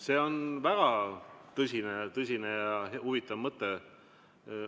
See on väga tõsine ja huvitav mõte.